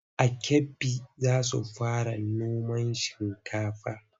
A Kebbi za su fara noman shinkafa.